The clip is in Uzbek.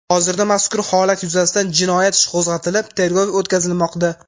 Hozirda mazkur holat yuzasidan jinoyat ishi qo‘zg‘atilib, tergov o‘tkazilmoqda.